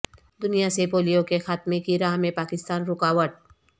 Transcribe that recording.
دنیا سے پولیو کے خاتمے کی راہ میں پاکستان رکاوٹ